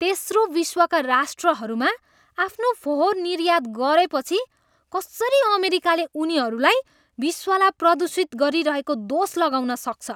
तेस्रो विश्वका राष्ट्रहरूमा आफ्नो फोहोर निर्यात गरेपछि कसरी अमेरिकाले उनीहरूलाई विश्वलाई प्रदूषित गरिरहेको दोष लगाउन सक्छ?